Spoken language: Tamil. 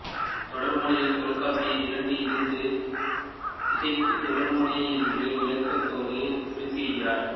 தொடர்மொழியைத் தொல்காப்பியர் இரண்டு இறந்து இசைக்கும் தொடர்மொழி என்று விளக்கத்தோடு குறிப்பிடுகிறார்